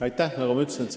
Aitäh!